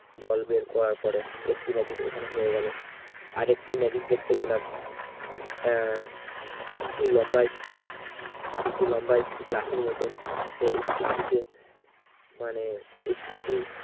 জল বের করার পরে একটি magic ওখানে হয়ে গেল আরেকটি magic দেখতে পেলাম উহ একটি লম্বা stick একটি লম্বা stick লাঠির মতন সে stick টিতে মানে stick টি